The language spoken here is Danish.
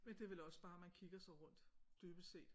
Men det er vel også bare man kigger sig rundt dybest set